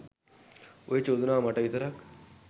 ඔය චෝදනාව මට විතරක්